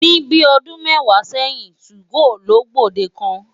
Ní bíi ọdún mẹ́wàá sẹ́yìn, 2go ló gbòde kàn.